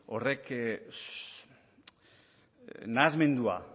horrek nahasmendua